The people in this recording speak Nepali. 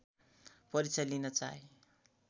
परीक्षा लिन चाहे